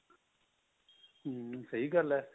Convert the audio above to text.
ਹਮ ਸਹੀ ਗੱਲ ਹੈ